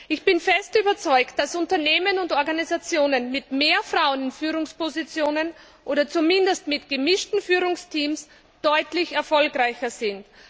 Ich bin fest davon überzeugt, dass Unternehmen und Organisationen mit mehr Frauen in Führungspositionen oder zumindest mit gemischten Führungsteams deutlich erfolgreicher sind.